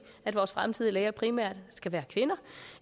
at vores fremtidige læger primært skal være kvinder